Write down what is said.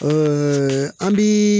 an bi